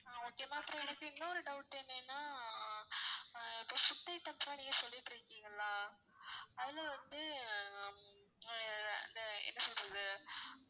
ஆஹ் okay ma'am அப்பறம் எனக்கு இன்னொரு doubt என்னென்னா இப்போ food items லா நீங்க சொல்லிட்டு இருக்கீங்கல்ல அதுல வந்து ஆஹ் அந்த என்ன சொல்றது